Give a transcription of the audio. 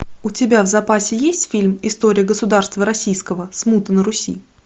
у тебя в запасе есть фильм история государства российского смута на руси